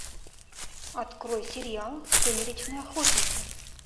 открой сериал сумеречные охотники